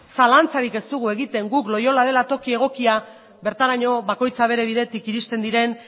zalantzarik ez dugu egiten guk loiola dela toki egokia bertaraino bakoitza bere bidetik iristen diren